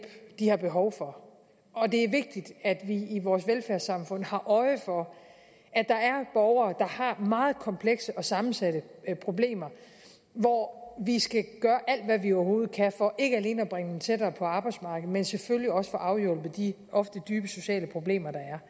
de har behov for og det er vigtigt at vi i vores velfærdssamfund har øje for at der er borgere har meget komplekse og sammensatte problemer hvor vi skal gøre alt hvad vi overhovedet kan for ikke alene at bringe dem tættere på arbejdsmarkedet men selvfølgelig også få afhjulpet de ofte dybe sociale problemer der er